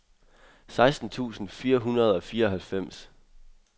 seksten tusind fire hundrede og fireoghalvfems